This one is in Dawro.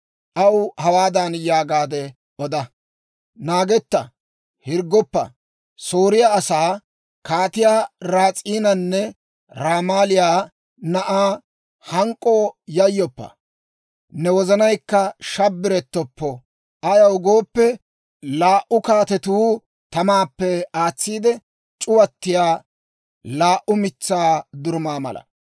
Aw hawaadan yaagaade oda; ‹Naagetta; hirggoppa; Sooriyaa asaa, Kaatiyaa Ras'iinanne Ramaaliyaa na'aa hank'k'oo yayyoppa; ne wozanaykka shabbarettoppo; ayaw gooppe, laa"u kaatetuu tamaappe aatsiide c'uwattiyaa laa"u mitsaa durumaa mala.